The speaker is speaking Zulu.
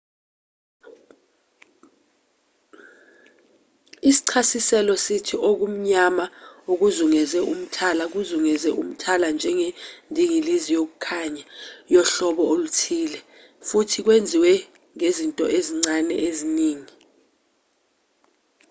isichasiselo sithi okumnyama okuzungeze umthala kuzungeze umthala njengendingilizi yokukhanya yohlobo oluthile futhi kwenziwe ngezinto ezincane eziningi